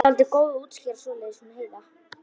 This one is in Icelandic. Hún var dáldið góð að útskýra svoleiðis hún Heiða.